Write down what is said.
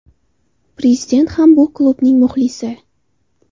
Prezident ham bu klubning muxlisi.